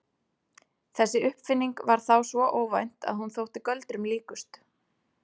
Þessi uppfinning var þá svo óvænt að hún þótti göldrum líkust.